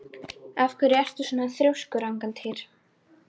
Af hverju ertu svona þrjóskur, Angantýr?